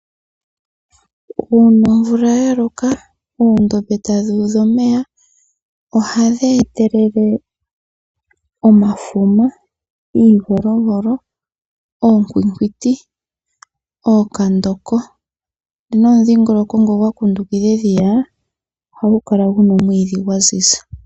Uuna omvula ya loka oondombe tadhi udha omeya ohadhi etelele omafuma, iivolovolo ,oonkwinkwiti ,ookandoko nomudhingoloko ngoka gwa kundukidha edhiya ohagu kala guna omwiidhi gwa ziza.